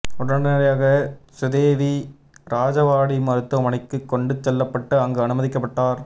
உடனடியாக சுதேவி ராஜவாடி மருத்துவமனைக்குக் கொண்டு செல்லப்பட்டு அங்கு அனுமதிக்கப்பட்டார்